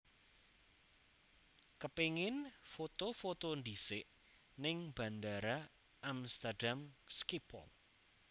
Kepingin foto foto ndhisik ning Bandara Amsterdam Schiphol